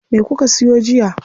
Me kuka siyo jiya?